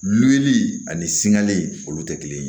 Lili ani sigalen olu tɛ kelen ye